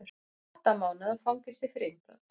Átta mánaða fangelsi fyrir innbrot